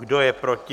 Kdo je proti?